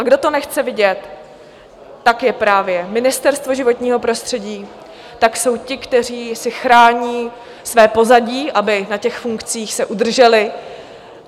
A kdo to nechce vidět, tak je právě Ministerstvo životního prostředí, tak jsou ti, kteří si chrání své pozadí, aby na těch funkcích se udrželi.